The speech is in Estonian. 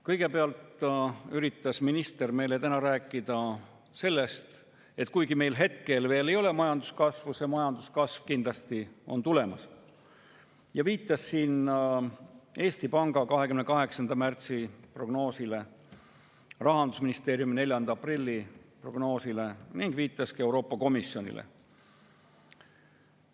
Kõigepealt üritas minister meile täna rääkida sellest, et kuigi meil hetkel veel ei ole majanduskasvu, on see majanduskasv kindlasti tulemas, ning viitas Eesti Panga 28. märtsi prognoosile, Rahandusministeeriumi 4. aprilli prognoosile ja ka Euroopa Komisjonile.